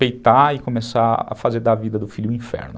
Peitar e começar a fazer da vida do filho um inferno.